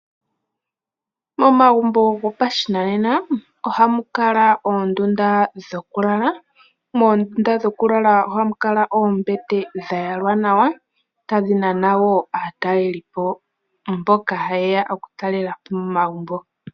Momagumbo gopashinanena ohamu kala oondunda dhokulala. Moondunda dhokulala ohamu kala oombete dha yalwa nawa tadhi nana wo aatalelipo mboka haye ya okutalela po momagumbo.